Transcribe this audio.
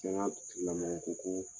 lamɔkɔ ko